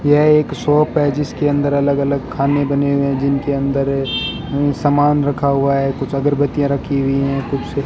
यह एक शॉप है जिसके अंदर अलग अलग खाने बने हुए हैं जिनके अंदर सामान रखा हुआ है कुछ अगरबत्तियां रखी हुई हैं कुछ --